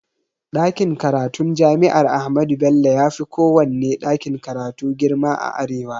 Ɗakin karatun jami'ar ahmadu bello yafi kowanne ɗakin karatu girma a arewa